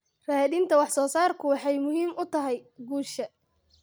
Raadinta wax soo saarku waxay muhiim u tahay guusha.